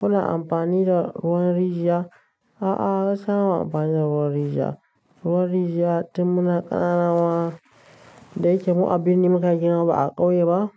Kuna amfani da ruwan rijiya? A'a, gaskiya bama amfani da ruwan rijiya. Ruwan rijiya tun muna ƙanana wa da yake mu abinni muka girma ba a ƙauye ba.